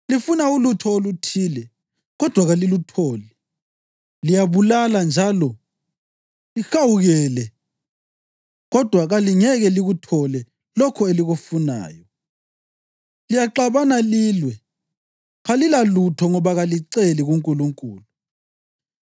Lifuna ulutho oluthile, kodwa kalilutholi. Liyabulala njalo lihawukele kodwa kalingeke likuthole lokho elikufunayo. Liyaxabana lilwe. Kalilalutho ngoba kaliceli kuNkulunkulu.